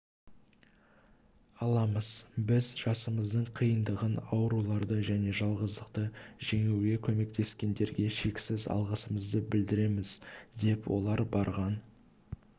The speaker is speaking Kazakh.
аламыз біз жасымыздың қиындығын ауруларды және жалғыздықты жеңуге көмектескендерге шексіз алғысымызды білдіреміз деп олар барған